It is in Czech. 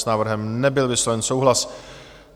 S návrhem nebyl vysloven souhlas.